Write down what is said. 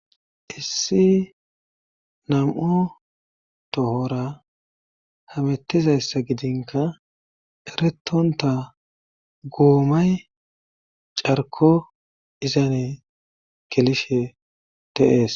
Issi nam'u tohora hamettizayssa gidinka eretonta goomay carko izane kelishe teees.